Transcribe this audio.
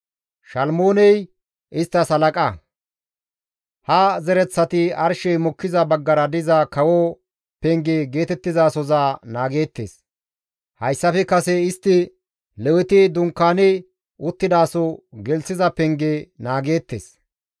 Ha zereththati arshey mokkiza baggara diza kawo Penge geetettizasoza naageettes; hayssafe kase istti Leweti dunkaani uttidaso gelththiza penge naageettes.